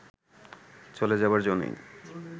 চ’লে যাবার জো নেই